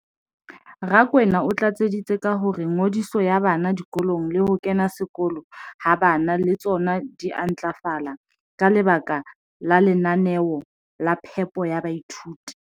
Rakwena o tlatseditse ka hore ngodiso ya bana dikolong le ho kena sekolo ha bana le tsona di a ntlafala ka lebaka la lenaneo la phepo ya baithuti.